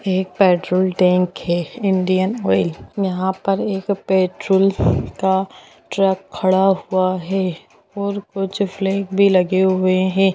एक petrol tank है Indian Oil यहाँ पर एक पेट्रोल का ट्रक खड़ा हुआ है और कुछ फ्लैग भी लगे हुए है।